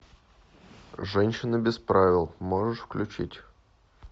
женщина без правил можешь включить